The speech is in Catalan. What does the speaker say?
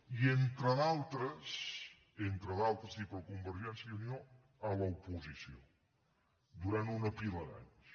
i entre d’altres i entre d’altres i per convergència i unió a l’oposició durant una pila d’anys